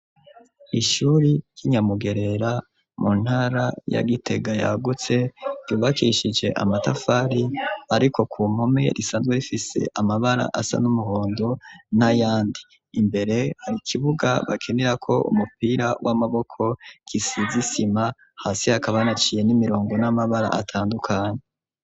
Ishure ry'Inyamugerera, mu ntara ya Gitega yagutse, ryubakishije amatafari ariko ku mpome risanzwe rifise amabara asa n'umuhondo n'ayandi. Imbere hari kibuga bakinirako umupira w'amaboko gisize isima, hasi hakaba hanaciye n'imirongo n'amabara atandukanye.